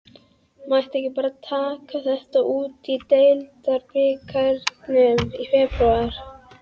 Mætti ekki bara taka þetta út í deildarbikarnum í febrúar?